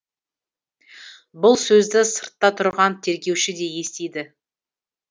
бұл сөзді сыртта тұрған тергеуші де естиді